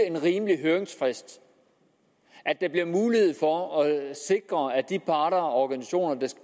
en rimelig høringsfrist at der bliver mulighed for at sikre at de parter og organisationer der